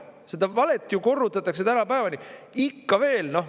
Seda valet ju korrutatakse tänapäevani, ikka veel.